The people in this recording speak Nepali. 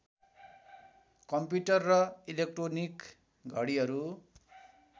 कम्प्युटर र इलेक्ट्रोनिक घडिहरू